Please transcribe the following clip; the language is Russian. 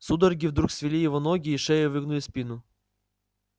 судороги вдруг свели его ноги и шею и выгнули спину